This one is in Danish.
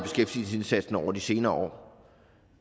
beskæftigelsesindsatsen over de senere år